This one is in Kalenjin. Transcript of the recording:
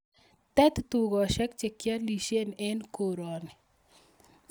Teb tugoshek che kialishen en korani